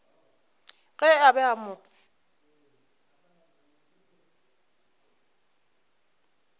ge a be a mo